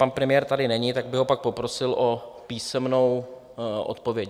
Pan premiér tady není, tak bych ho pak poprosil o písemnou odpověď.